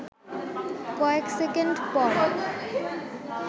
কয়েক সেকেন্ড পর